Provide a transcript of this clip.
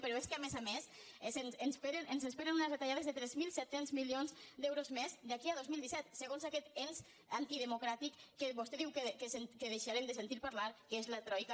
però és que a més a més ens esperen unes retallades de tres mil set cents milions d’euros més d’aquí al dos mil disset segons aquest ens antidemocràtic que vostè diu que deixarem de sentir ne parlar que és la troica